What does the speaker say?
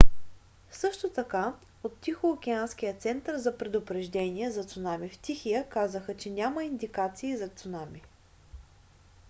също така от тихоокеанския център за предупреждения за цунами в тихия казаха че няма индикации за цунами